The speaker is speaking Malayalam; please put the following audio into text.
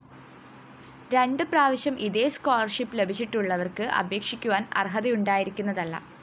രണ്ടു പ്രാവശ്യം ഇതേ സ്കോളർഷിപ്പ്‌ ലഭിച്ചിട്ടുള്ളവര്‍ക്ക് അപേക്ഷിക്കുവാന്‍ അര്‍ഹതയു ണ്ടായിരിക്കുന്നതല്ല